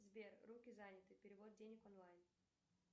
сбер руки заняты перевод денег онлайн